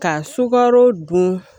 Ka sukaro dun